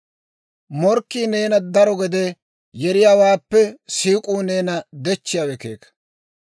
Morkkii neena daro gede yeriyaawaappe siik'uu neena dechchiyaawe keeka.